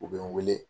U bɛ n wele